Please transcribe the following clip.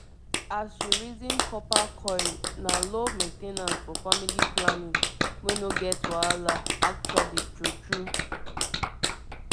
as you reason copper coil na low main ten ance for family planning wey no get wahala actually true true